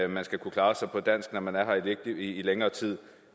man skal kunne klare sig på dansk når man er her i længere tid